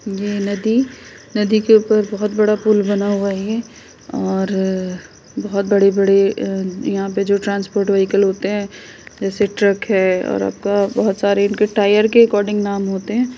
ये नदी नदी के ऊपर बोहोत बड़ा पुल बना हुआ है और बोहोत बड़े बड़े अ यहाँं पे जो ट्रांसपोर्ट वेहीकल होते हैं जैसे ट्रक है और आपका बोहोत सारे इनके टायर के नाम अकॉर्डिंग नाम होते हैं।